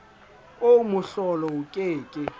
oo mohlolo o ke ke